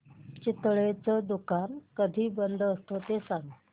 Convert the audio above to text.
चितळेंचं दुकान कधी बंद असतं ते सांग